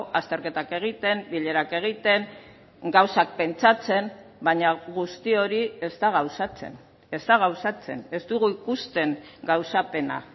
azterketak egiten bilerak egiten gauzak pentsatzen baina guzti hori ez da gauzatzen ez da gauzatzen ez dugu ikusten gauzapena